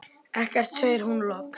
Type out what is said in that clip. Ekkert, segir hún loks.